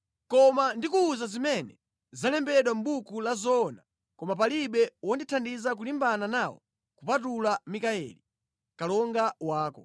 Koma ndikuwuza zimene zalembedwa mʼbuku la zoona koma palibe wondithandiza kulimbana nawo kupatula Mikayeli, kalonga wako.”